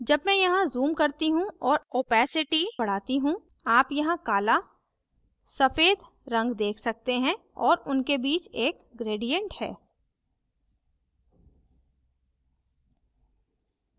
जब मैं यहाँ zoom करती हूँ और opacity बढ़ाती हूँ आप यहाँ काला सफ़ेद रंग देख सकते हैं और उनके बीच एक gradient है